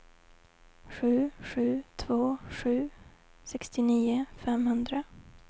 sju sju två sju sextionio femhundra